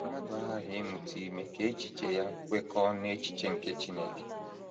Mmadụ aghaghị ịmụta ime ka echiche ya kwekọọ n’echiche nke Chineke.